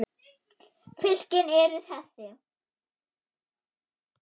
Fylkin eru þessi